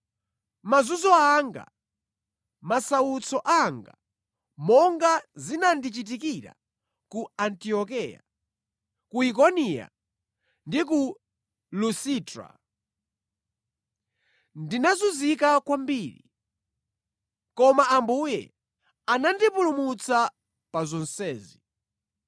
mazunzo anga, masautso anga, monga zinandichitikira ku Antiokeya, ku Ikoniya ndi ku Lusitra. Ndinazunzika kwambiri. Koma Ambuye anandipulumutsa pa zonsezi.